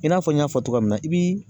I n'a fɔ n y'a fɔ cogoya min na i b'i